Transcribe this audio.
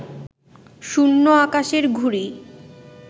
শূন্য আকাশের ঘুড়ি